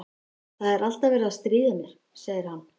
Það er alltaf verið að stríða mér, segir hann.